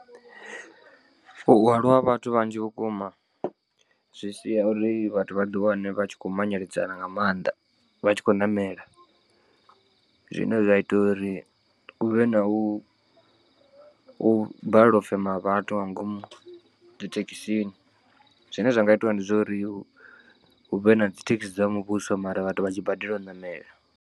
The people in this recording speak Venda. U hwalwa ha vhathu vhanzhi vhukuma zwi sia uri vhathu vha ḓi wane vha tshi khou manyeledzana nga maanḓa vha tshi khou ṋamela. Zwine zwa ita uri u vhe na u balelwa u fema ha vhathu nga ngomu dzi thekhisini zwine zwa nga itiwa ndi zwa uri hu vhe na dzi thekhisi dza muvhuso mara vhathu vha tshi badela u ṋamela.